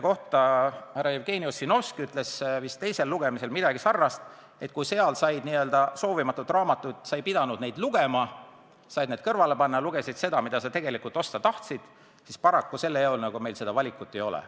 Härra Jevgeni Ossinovski ütles vist teisel lugemisel selle kohta midagi sarnast, et kui pakis olnud n-ö soovimatut raamatut ei pidanud sa lugema, said selle kõrvale panna, ja lugesid üksnes seda, mida sa tegelikult osta tahtsid, siis selle eelnõu puhul meil niisugust valikut paraku ei ole.